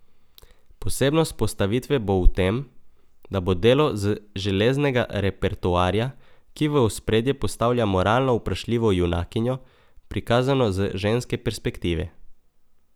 Posebnost postavitve bo v tem, da bo delo z železnega repertoarja, ki v ospredje postavlja moralno vprašljivo junakinjo, prikazano z ženske perspektive.